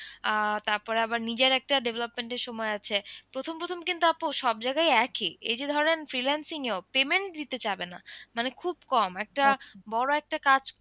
আহ তারপরে আবার নিজের একটা development এর সময় আছে প্রথম প্রথম কিন্তু আপু সব জায়গায় একই এই যে ধরেন freelancing এ ও payment দিতে চাবে না মানে খুব কম একটা বড় একটা কাজ।